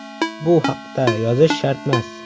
Bu haqda yozish shartmas”.